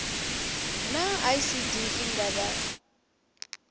naa icd i nga vha